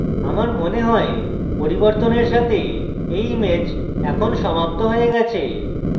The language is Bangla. আমার মনে হয় পরিবর্তনের সাথে এই image এখন সমাপ্ত হয়ে গেছে